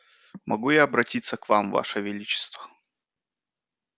могу я обратиться к вам ваше величество